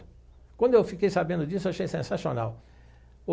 Quando eu fiquei sabendo disso, eu achei sensacional.